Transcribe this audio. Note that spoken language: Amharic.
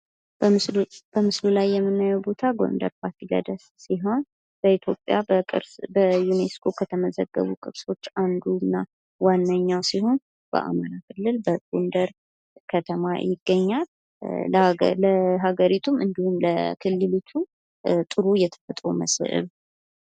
በምስሉ ላይ የምናየዉ ቦታ ጎንደር ፋሲለደስ ሲሆን በኢትዮጵያ በቅርስ በዩኔስኮ ከተመዘገቡ ቅርሶች አንዱ እና ዋነኛዉ ሲሆን በአማራ ክልል በጎንደር ከተማ ይገኛል። ለአገሪቱ እንዲሁም ለክልሊቱም ጥሩ የተፈጥሮ መስህብ።